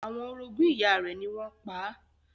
Àwọn orogún ìyá rẹ̀ ni wọ́n pa á.